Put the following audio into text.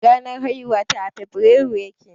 Ranar haihuwata a febirairu ya ke.